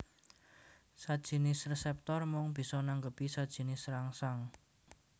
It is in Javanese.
Sajinis reseptor mung bisa nanggepi sajinis rangsang